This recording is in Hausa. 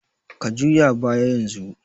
Ka juya baya yanzu!